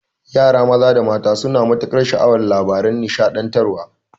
Yara maza da mata suna matukar sha'awan labaran nishaɗantarwa